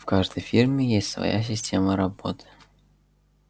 в каждой фирме есть своя система работы